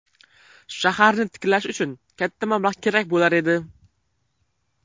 Shaharni tiklash uchun katta mablag‘ kerak bo‘lar edi.